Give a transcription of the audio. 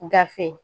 Gafe